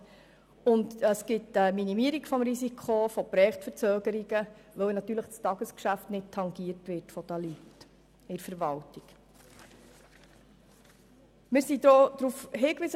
Von Vorteil ist ausserdem eine Minimierung des Risikos von Projektverzögerungen, weil das Tagesgeschäft der Mitarbeitenden innerhalb der Verwaltung nicht davon tangiert wird.